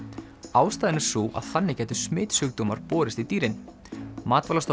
ástæðan er sú að þannig gætu smitsjúkdómar borist í dýrin